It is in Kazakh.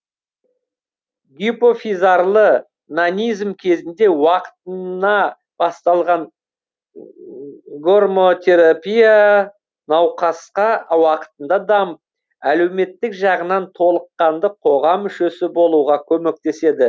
гипофизарлы нанизм кезінде уақытына басталған гормонотерапия науқасқа уақытында дамып әлеуметтік жағынан толыққанды қоғам мүшесі болуға көмектеседі